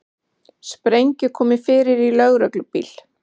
Sprengju komið fyrir í lögreglubíl